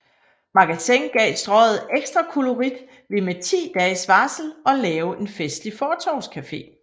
Magasin gav Strøget ekstra kollorit ved med 10 dages varsel at lave en festlig fortovscafe